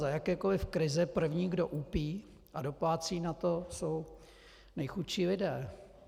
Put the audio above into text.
Za jakékoliv krize první, kdo úpí a doplácí na to, jsou nejchudší lidé.